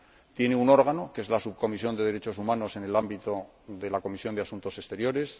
tiene un órgano, que es la Subcomisión de Derechos Humanos en el ámbito de la Comisión de Asuntos Exteriores